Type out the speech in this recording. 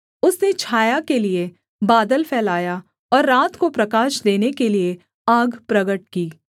उसने छाया के लिये बादल फैलाया और रात को प्रकाश देने के लिये आग प्रगट की